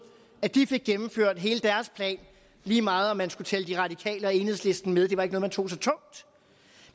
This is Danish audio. at de fik gennemført hele deres plan lige meget om man skulle tælle de radikale og enhedslisten med det var ikke noget man tog så tungt